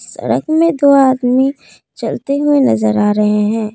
सड़क में दो आदमी चलते हुए नजर आ रहे हैं।